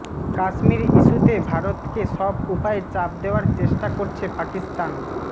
কাশ্মীর ইস্যুতে ভারতকে সব উপায়ে চাপ দেওয়ার চেষ্টা করছে পাকিস্তান্